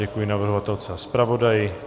Děkuji navrhovatelce a zpravodaji.